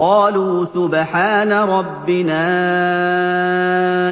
قَالُوا سُبْحَانَ رَبِّنَا